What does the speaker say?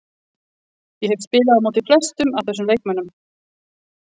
Ég hef spilað á móti flestum af þessum leikmönnum.